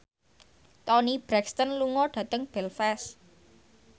Toni Brexton lunga dhateng Belfast